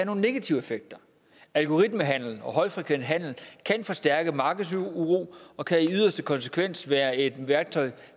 nogle negative effekter algoritmehandel og højfrekvent handel kan forstærke markedsuro og kan i yderste konsekvens være et værktøj